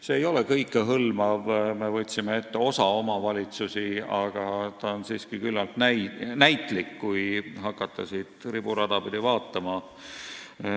See ei ole kõikehõlmav, me võtsime ette osa omavalitsusi, aga see on siiski küllalt näitlik, kui hakata seda riburada pidi vaatama.